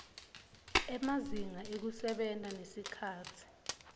emazinga ekusebenta nesikhatsi